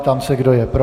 Ptám se, kdo je pro.